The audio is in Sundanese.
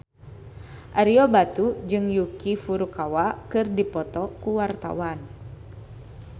Ario Batu jeung Yuki Furukawa keur dipoto ku wartawan